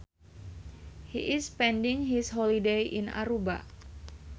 He is spending his holiday in Aruba